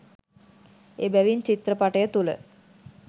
එබැවින් චිත්‍රපටය තුළ